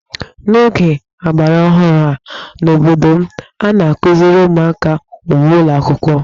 N'oge ọgbaraọhụrụ a n'obodo m, a na-akụziri ụmụaka ukwe n'ụlọ akwụkwọ